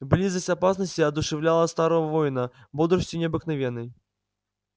близость опасности одушевляла старого воина бодростию необыкновенной